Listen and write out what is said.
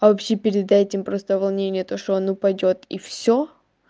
а вообще перед этим просто волнение то что он упадёт и всё